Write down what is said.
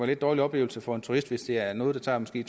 lidt dårlig oplevelse for en turist hvis det er noget der måske